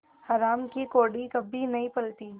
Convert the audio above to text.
हराम की कौड़ी कभी नहीं फलती